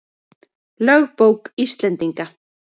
Lögbók Íslendinga.